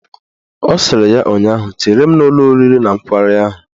Ọ sịrị ya ụnyaahụ " Chere m n'ụlọ oriri na nkwari ahụ"!